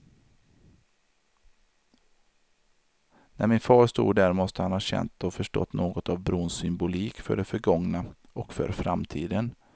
När min far stod där måste han ha känt och förstått något av brons symbolik för det förgångna, och för framtiden.